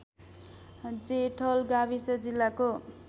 जेठल गाविस जिल्लाको